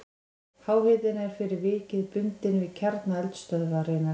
Háhitinn er fyrir vikið bundinn við kjarna eldstöðvarinnar.